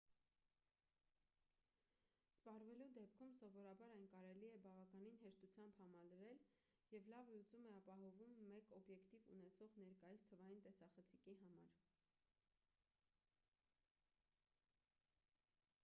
սպառվելու դեպքում սովորաբար այն կարելի է բավականին հեշտությամբ համալրել և լավ լուծում է ապահովում մեկ օբյեկտիվ ունեցող ներկայիս թվային տեսախցիկի համեմատ